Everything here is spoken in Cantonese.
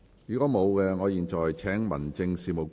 如果沒有，我現在請民政事務局局長答辯。